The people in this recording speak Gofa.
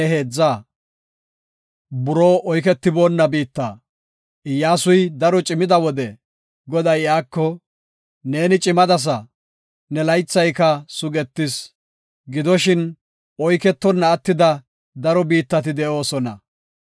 Iyyasuy daro cimida wode Goday iyako, “Neeni cimadasa; ne laythayka sugetis, gidoshin oyketona attida daro biittati de7oosona.